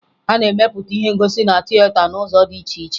A na-emepụta ihe ngosi na tieta n'ụzọ dị iche iche